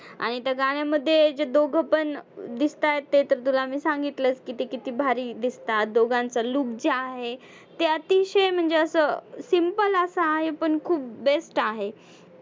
आणि त्या गाण्यामध्ये दोघं पण दिसताहेत ते तर तुला मी सांगितलंच, किती किती भारी दिसतात दोघांचं look जे आहे ते अतिशय म्हणजे असं simple असा आहे पण खूप best आहे.